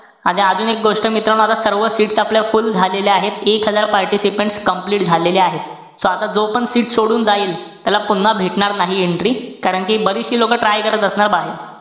अच्छा अजून एक गोष्ट मित्रांनो, माझा सर्व seats आपल्या full झालेल्या आहेत. एक हजार participants complete झालेले आहेत. So आता जो पण seat सोडून जाईल, त्याला पुन्हा भेटणार नाही entry. कारण कि बरीचशी लोकं try करत असणार बाहेर.